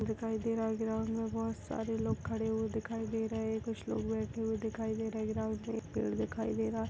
--दिखाई दे रहा है ग्राउंड में बहोत सारे लोग खड़े हुए दिखाई दे रहे है कुछ लोग बैठे हुए दिखाई दे रहे हे ग्राउंड में एक पेड़ दिखाई दे रहा--